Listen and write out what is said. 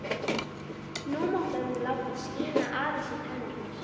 Nú mátti hann láta skína aðeins í tennurnar.